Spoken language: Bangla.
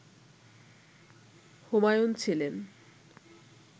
হুমায়ুন ছিলেন